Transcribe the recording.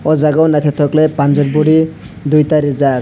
o jaga o naithotok khwlai panjab body duita rijak.